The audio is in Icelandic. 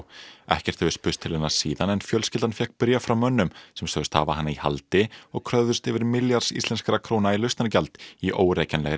ekkert hefur spurst til hennar síðan en fjölskyldan fékk bréf frá mönnum sem sögðust hafa hana í haldi og kröfðust yfir milljarðs íslenskra króna í lausnargjald í